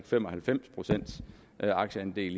fem og halvfems procent af aktierne det er